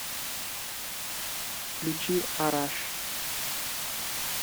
включи араш